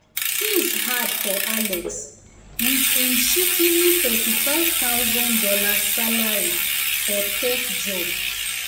things hard for alex with him shikini $35000 salary for tech job.